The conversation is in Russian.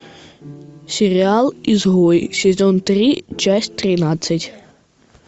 сериал изгой сезон три часть тринадцать